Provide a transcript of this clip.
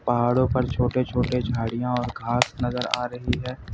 पहाड़ों पर छोटे छोटे झाड़ियां और घास नजर आ रही है।